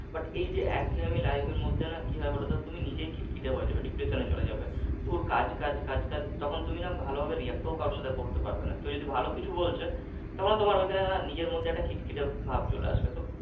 But এই যে একঘেয়েমি life এর মধ্যে না কি হয় বলতো? তুমি নিজেই খিটখিটে হয়ে যাবে depression এ চলে যাবে দূর কাজ কাজ কাজ কাজ তখন তুমি না ভালোভাবে react ও কারো সাথে করতে পারবে না কেউ যদি ভালো কিছু বলছে তখন না ওই খানে তোমার নিজের মধ্যে একটা খিটখিটে ভাব চলে আসবে